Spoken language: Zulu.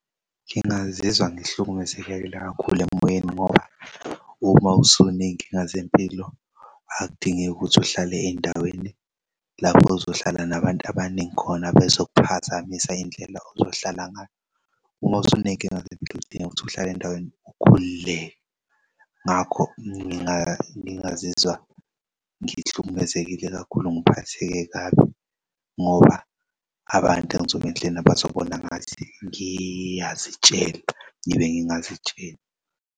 Ngingazizwa ngihlukumezekile kakhulu emoyeni ngoba uma usuney'nkinga zempilo akudingeki ukuthi uhlale ey'ndaweni lapho ozohlala nabantu abaningi khona bezok'phazamisa indlela ozohlala ngayo. Umosenenkinga zempilo udinga ukuthi uhlale endaweni ukhululeke. Ngakho ngangazizwa ngihlukumezekile kakhulu ngiphatheke kabi ngoba abantu engizobe ngihleli nabo bazobona ngathi ngiyazitshela ngibe ngingazitsheli.